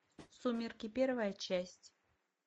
сумерки первая часть